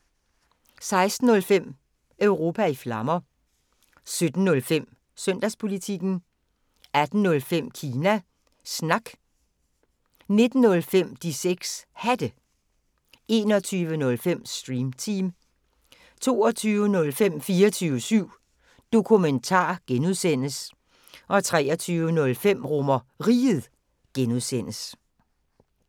16:05: Europa i Flammer 17:05: Søndagspolitikken 18:05: Kina Snak 19:05: De 6 Hatte 21:05: Stream Team 22:05: 24syv Dokumentar (G) 23:05: RomerRiget (G)